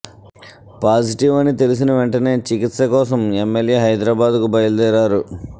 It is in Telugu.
పాజిటివ్ అని తెలిసిన వెంటనే చికిత్స కోసం ఎమ్మెల్యే హైదరాబాద్కు బయలుదేరారు